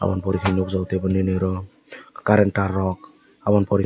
aboni pore ke nogjako tebo nini oro current tar rok aboni pore.